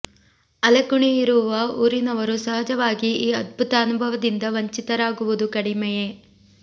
ಅಲೆಕುಣಿ ಇರುವ ಊರಿನವರು ಸಹಜವಾಗಿ ಈ ಅದ್ಭುತ ಅನುಭವದಿಂದ ವಂಚಿತರಾಗುವುದು ಕಡಿಮೆಯೆ